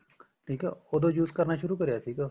ਠੀਕ ਆ ਉਦੋਂ use ਕਰਨਾ ਸ਼ੁਰੂ ਕਰਿਆ ਸੀਗਾ